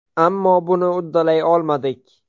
Ammo buni uddalay olmadik.